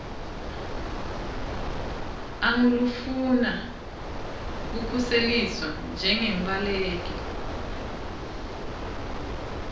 angulofuna kukhuseliswa njengembaleki